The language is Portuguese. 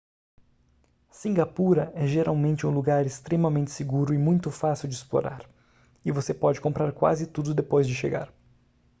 cingapura é geralmente um lugar extremamente seguro e muito fácil de explorar e você pode comprar quase tudo depois de chegar